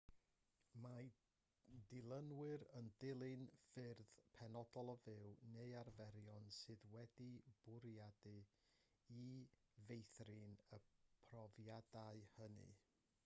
mae dilynwyr yn dilyn ffyrdd penodol o fyw neu arferion sydd wedi'u bwriadu i feithrin y profiadau hynny